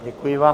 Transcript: Děkuji vám.